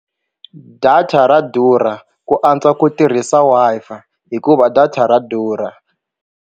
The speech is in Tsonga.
Data ra durha ku antswa ku tirhisa Wi-Fi hikuva data ra durha.